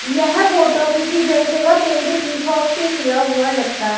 यह फोटो किसी जन सेवा केंद्र की शॉप से लिया हुआ लगता है।